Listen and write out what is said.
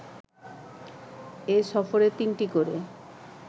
এ সফরে তিনটি করে